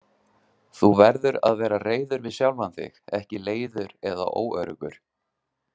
Þú verður að vera reiður við sjálfan þig, ekki leiður eða óöruggur.